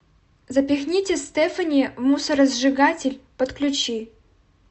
запихните стефани в мусоросжигатель подключи